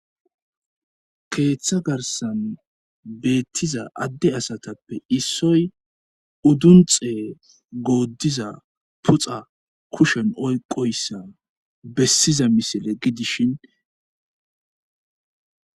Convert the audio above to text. keeththa garsan beettiza adde asatappe issoy uddunxee gooddiza puxa kushen oyqoyssa bessiza misile gidishin